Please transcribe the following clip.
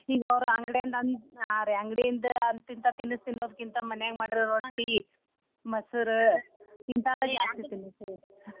ಈಗ ಅವ್ರ ಅಂಗಡ್ಯಾನ್ದಅಂದ್ರ ಹಾ ರೀ ಅಂಗಡಿಯಿಂದ ಅಂತ ಇಂತ ತಿನಸ ತಿನ್ನೋಕಿಂತಾ ಮನ್ಯಾಗ ಮಾಡಿದ ರೊಟ್ಟಿ ಮೊಸರ ಇಂತಾದ ಜಾಸ್ತಿ .